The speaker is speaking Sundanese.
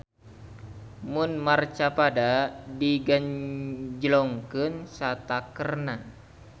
Mun marcapada digenjlongkeun satakerna.